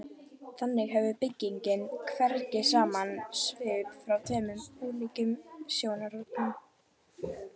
Þannig hefur byggingin hvergi sama svip frá tveimur ólíkum sjónarhornum.